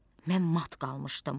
Mən mat qalmışdım.